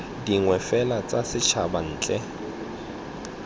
dingwe fela tsa setšhaba ntle